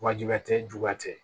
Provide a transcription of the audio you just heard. Wa jugu tɛ juguya tɛ